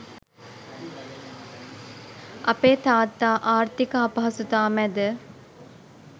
අපේ තාත්තා ආර්ථික අපහසුතා මැද